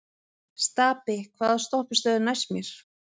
Stapi, hvaða stoppistöð er næst mér?